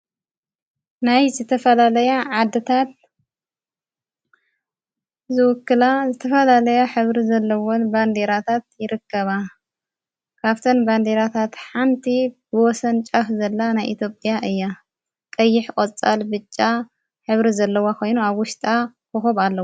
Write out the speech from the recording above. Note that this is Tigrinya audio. ናይ ዘተፈላለያ ዓድታት ዝውክላ ዘተፈላለያ ኅብሪ ዘለዉን በንዲራታት ይረከባ ካፍተን ባንዲራታት ሓንቲ ብወሰን ጫፍ ዘላ ናይ ኢቴጵያ እያ ቀይሕ ቖፃል ብጫ ኅብሪ ዘለዋ ኾይኑ ኣጐሽጣ ኮኹብ ኣለዋ።